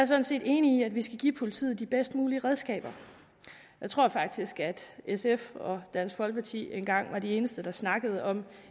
sådan set enig i at vi skal give politiet de bedst mulige redskaber jeg tror faktisk at sf og dansk folkeparti engang var de eneste der snakkede om